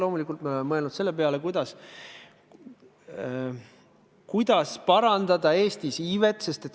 Loomulikult me oleme mõelnud selle peale, kuidas parandada Eestis iivet.